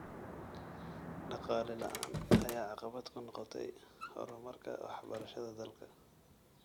Dhaqaale la�aan ayaa caqabad ku noqotay horumarka waxbarashada dalka.